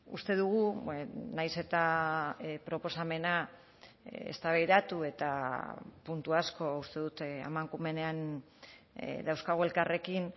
uste dugu nahiz eta proposamena eztabaidatu eta puntu asko uste dut amankumenean dauzkagu elkarrekin